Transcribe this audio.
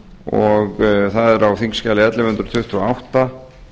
og það er á þingskjali ellefu hundruð tuttugu og átta